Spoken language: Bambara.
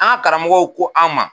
An ka karamɔgɔw ko an ma.